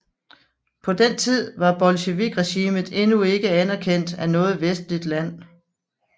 På den tid var bolsjevikregimet endnu ikke anerkendt af noget vestligt land